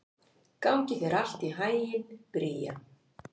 Gangi þér allt í haginn, Bría.